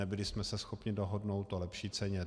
Nebyli jsme se schopni dohodnout o lepší ceně.